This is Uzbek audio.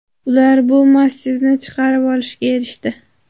Ular bu massivni chiqarib olishga erishdi.